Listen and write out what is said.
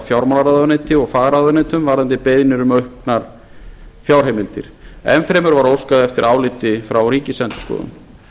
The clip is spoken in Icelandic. fjármálaráðuneyti og fagráðuneytum varðandi beiðnir um auknar fjárheimildir enn fremur var óskað eftir áliti frá ríkisendurskoðun